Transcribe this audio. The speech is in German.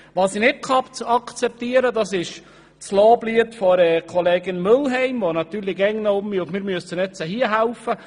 Was ich nicht akzeptieren kann, ist das Loblied von Kollegin Mühlheim, die natürlich immer noch meint, man müsse jetzt hier helfen.